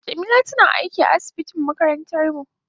Jamila tana aiki a asibitin makarantar mu.